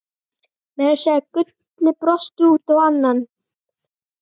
Meira að segja Gulli brosti út í annað.